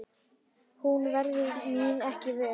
Hún verður mín ekki vör.